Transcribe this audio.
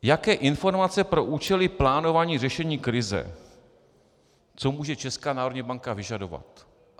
Jaké informace pro účely plánování řešení krize - co může Česká národní banka vyžadovat.